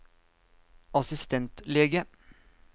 assistentlege